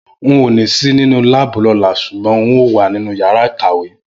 N ò ní sì nínú láàbù lọ́la ṣùgbọ́n n óò wà nínú yàrá ìkàwé